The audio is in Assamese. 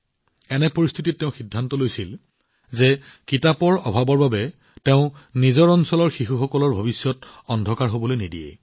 এনে পৰিস্থিতিত তেওঁ সিদ্ধান্ত লৈছিল যে কিতাপৰ অভাৱৰ বাবে তেওঁ নিজৰ অঞ্চলৰ শিশুসকলৰ ভৱিষ্যত অন্ধকাৰ হবলৈ নিদিয়ে